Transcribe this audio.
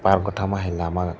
paro oto ma hai lama.